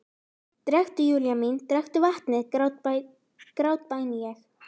Drekktu, Júlía mín, drekktu vatnið, grátbæni ég.